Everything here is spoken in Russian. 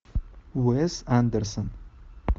уэс андерсон